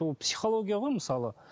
ол психология ғой мысалы